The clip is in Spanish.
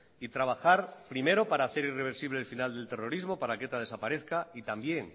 y trabajar primero para hacer irreversible el final del terrorismo para que eta desaparezca y también